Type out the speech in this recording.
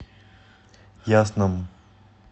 ясном